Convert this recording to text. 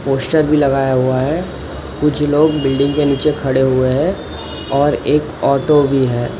Poster भी लगाया हुआ है। कुछ लोग बिल्डिंग के नीचे खड़े हुए हैं और एक ऑटो भी है।